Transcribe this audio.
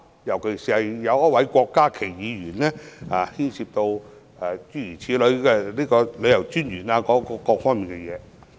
尤其是，郭家麒議員便討論到旅遊事務專員等各方面。